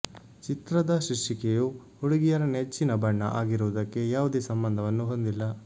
ಚಿತ್ರದ ಶೀರ್ಷಿಕೆಯು ಹುಡುಗಿಯರ ನೆಚ್ಚಿನ ಬಣ್ಣ ಆಗಿರುವುದಕ್ಕೆ ಯಾವುದೇ ಸಂಬಂಧವನ್ನು ಹೊಂದಿಲ್ಲ